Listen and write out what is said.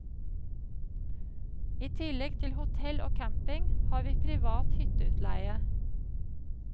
I tillegg til hotell og camping har vi privat hytteutleie.